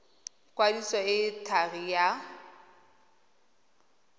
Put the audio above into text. kwadiso e e thari ya